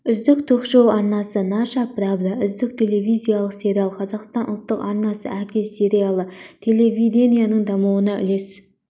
үздік ток-шоу арнасы наша правда үздік телевизиялық сериал қазақстан ұлттық арнасы әке сериалы телевидениенің дамуына үлес